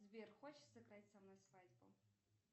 сбер хочешь сыграть со мной свадьбу